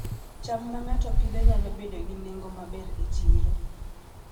cham ma ng'ato Pidhoo nyalo bedo gi nengo maber e chiro